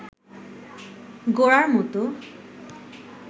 গোরার মতো